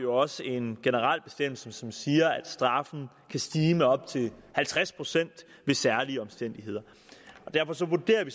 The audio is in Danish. også en generel bestemmelse som siger at straffen kan stige med op til halvtreds procent ved særlige omstændigheder derfor vurderer vi